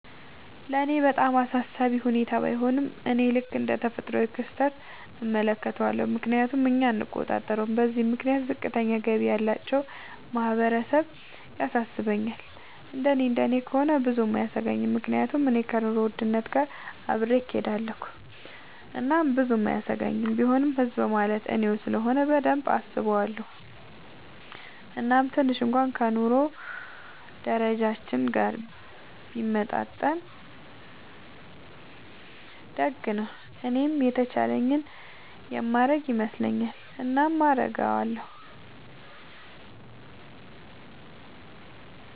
ለኔ በጣም አሳሳቢ ሁኔታ ባይሆንም፤ እኔ ልክ እንደ ተፈጥሯዊ ክስተት እመለከተዋለሁ፤ ምክንያቱም እኛ አንቆጣጠረውም። በዚህም ምክንያት ዝቅተኛ ገቢ ያላቸው ማህበረሰብ ያሳስባል፤ እንደኔ እንደኔ ከሆነ ብዙም አያሰኘኝም፤ ምክንያቱም እኔ ከኑሮ ውድነት ጋር አብሬ እሆዳለኹ እናም ብዙም አያሰጋኝም፤ ቢሆንም ህዝብ ማለት እኔው ስለሆነ በደንብ አስበዋለው፤ እናም ትንሽ እንኩዋን ከ ኑሮ ደረጃችን ጋር ቢመጣጠን ደግ ነው። እኔም የተቻለኝን የማረግ ይመስለኛል። እናም አረጋለው።